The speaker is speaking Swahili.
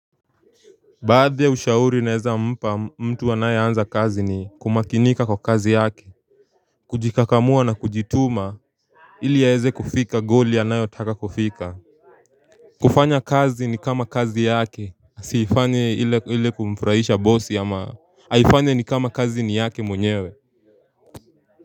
Baadhi ya ushauri nawezampa mtu anayeanza kazi ni kumakinika kwa kazi yake kujikakamua na kujituma ili aweze kufika goli anayotaka kufika kufanya kazi ni kama kazi yake asiifanye ile kumfurahisha bosi ama aifanye ni kama kazi ni yake mwenyewe.